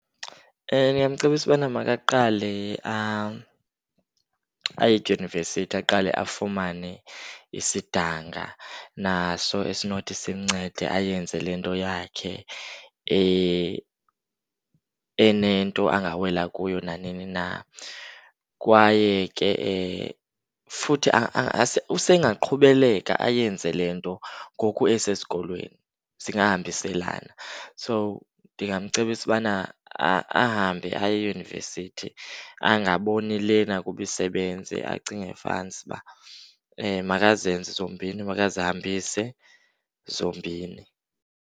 Ndingamcebisa ubana makaqale aye edyunivesithi, aqale afumane isidanga naso esinothi simncede ayenze le nto yakhe enento angawela kuyo nanini na. Kwaye ke futhi usengaqhubeleka ayenze le nto ngoku esesikolweni, zingahambiselana. So, ndingamcebisa ubana ahambe aye eyunivesithi, angaboni lena kuba isebenza acinge fansba. Makazenze zombini, makazihambise zombini.